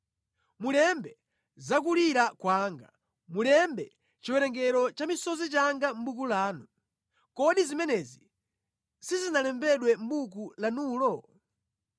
Mulembe za kulira kwanga, mulembe chiwerengero cha misozi yanga mʼbuku lanu. Kodi zimenezi sizinalembedwe mʼbuku lanulo?